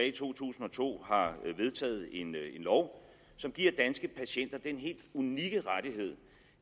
i to tusind og to har vedtaget en lov som giver danske patienter den helt unikke rettighed